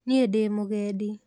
Niĩ ndĩ mũgendi